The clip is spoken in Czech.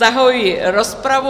Zahajuji rozpravu.